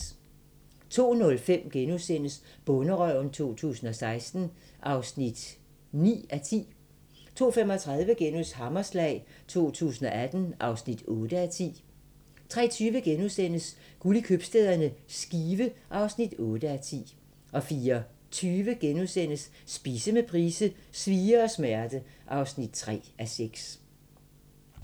02:05: Bonderøven 2016 (9:10)* 02:35: Hammerslag 2018 (8:10)* 03:20: Guld i købstæderne - Skive (8:10)* 04:20: Spise med Price: "Svie og smerte" (3:6)*